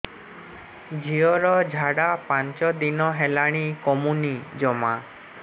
ଝିଅର ଝାଡା ପାଞ୍ଚ ଦିନ ହେଲାଣି କମୁନି ଜମା